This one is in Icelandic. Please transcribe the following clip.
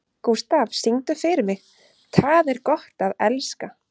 Gústaf, syngdu fyrir mig „Tað er gott at elska“.